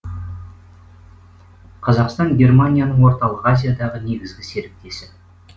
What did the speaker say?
қазақстан германияның орталық азиядағы негізгі серіктесі